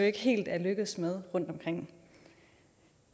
ikke helt lykkedes med rundtomkring